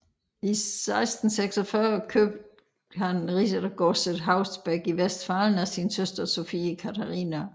I 1646 købte han riddergodset Haus Beck i Westfalen af sin søster Sophie Katharina